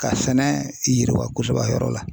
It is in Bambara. Ka sɛnɛ yiriwa kosɛbɛ a yɔrɔ la.